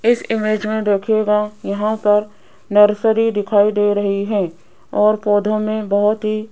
इस इमेज में देखिएगा यहां पर नर्सरी दिखाई दे रही है और पौधों में बहुत ही --